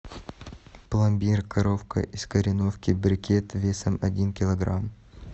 пломбир коровка из кореновки брикет весом один килограмм